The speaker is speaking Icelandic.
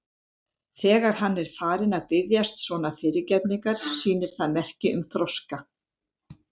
Þegar hann er farinn að biðjast svona fyrirgefningar sýnir það merki um þroska.